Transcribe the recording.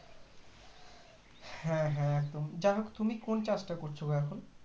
হ্যাঁ হ্যাঁ একদম যাই হোক তুমি কোন চাষটা করছো গো এখন